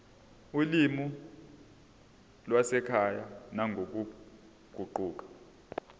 olimini lwasekhaya nangokuguquka